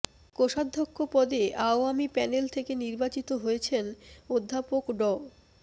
কোষাধ্যক্ষ পদে আওয়ামী প্যানেল থেকে নির্বাচিত হয়েছেন অধ্যাপক ড